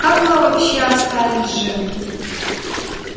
как мы вообще остались живы